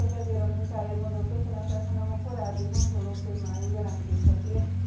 És nem csak ezért a munkáért mondok köszönetet, hanem a korábbi, hasonló témájú jelentésekért is.